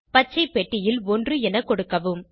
பச்சை பெட்டியில் 1 என கொடுக்கவும்